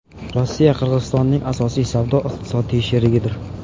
Rossiya Qirg‘izistonning asosiy savdo-iqtisodiy sherigidir.